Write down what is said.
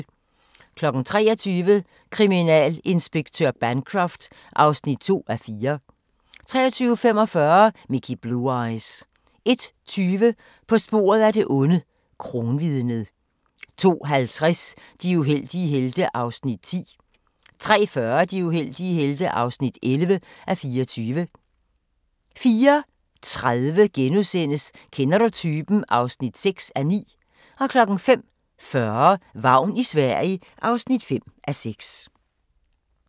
23:00: Kriminalinspektør Bancroft (2:4) 23:45: Mickey Blue Eyes 01:20: På sporet af det onde: Kronvidnet 02:50: De uheldige helte (10:24) 03:40: De uheldige helte (11:24) 04:30: Kender du typen? (6:9)* 05:40: Vagn i Sverige (5:6)